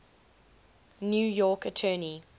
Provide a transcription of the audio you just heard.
new york attorney